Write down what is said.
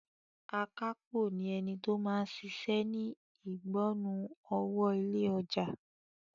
Akápò ni ẹni tó máa ń ṣiṣẹ́ ni ìgbọnnu owó ilé ọjà.